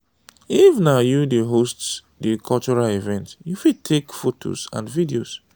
if na you dey host di cultural event you fit take photo and video